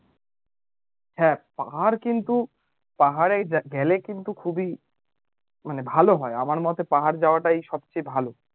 হ্যা পাহাড় কিন্তু পাহাড় গেলে কিন্তু খুবই মানে ভালো হয় আমার মতে পাহাড় যাওয়াটাই সবচেয়ে ভালো